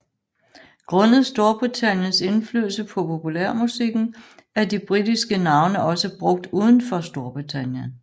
Grundet Storbritanniens indflydelse på populærmusikken er de britiske navne også brugt udenfor Storbritannien